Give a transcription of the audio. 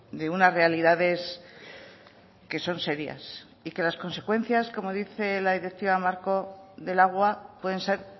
de unas realidades que son serias y que las consecuencias como dice la directiva marco del agua pueden ser